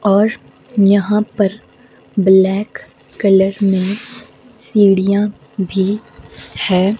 और यहां पर ब्लैक कलर में सीढ़ियां भी है।